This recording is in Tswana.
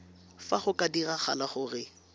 fa go ka diragala gore